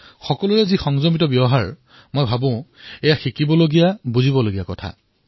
সকলোৰে সংযমিত ব্যৱহাৰমই এয়া শিকিবলগীয়া বিষয় বুলি ভাবোঁ